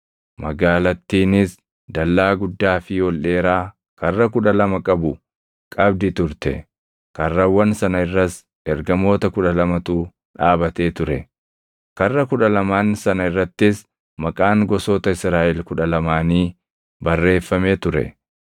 Magaalattiinis dallaa guddaa fi ol dheeraa karra kudha lama qabu qabdi turte. Karrawwan sana irras ergamoota kudha lamatu dhaabatee ture; karra kudha lamaan sana irrattis maqaan gosoota Israaʼel kudha lamaanii barreeffamee ture.